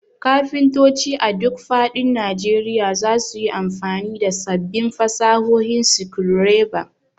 Kafintoci a duk faɗin Najeriya za su yi amfani da sabbin fasahohin screwdriver.